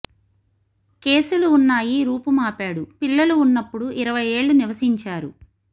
కేసులు ఉన్నాయి రూపుమాపాడు పిల్లులు ఉన్నప్పుడు ఇరవై ఏళ్ళ నివసించారు